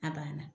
A banna